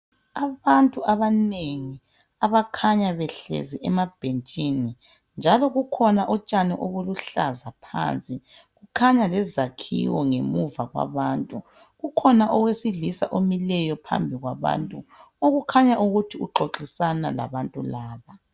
Abantu abanengi abakhanya behlezi emabhentshini njalo kukhona utshani obuluhlaza phansi, khanya lezakhiwo ngemuva kwabantu ukhona owe silisa omileyo phambi kwabantu okukhanya ukuthi uxoxisana labantu laba.